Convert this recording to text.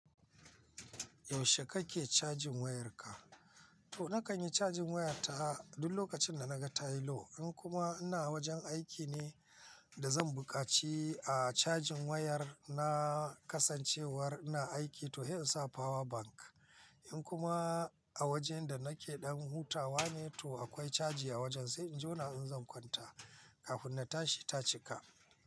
Yaushe kake cajin wayarka? To na kan yi cajin wayata duk lokacin da na ga tayi low. In kuma ina wajen aiki ne da zan buƙaci a cajin wayar na kasancewar ina aiki to he insa power bank. In kuma a wajen da nake ɗan hutawa ne to akwai caji a wajen, sai in jona in zan kwanta kafin na tashi ta cika.